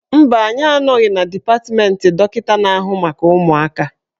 Mba, anyị anọghị na dipatmentị dọkịka na-ahụ maka ụmụaka.